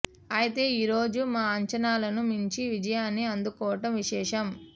అయితే ఈ రోజు మా అంచనాలను మించి విజయాన్ని అందుకోవటం విశేషం